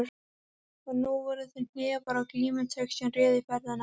Og nú voru það hnefar og glímutök sem réðu ferðinni.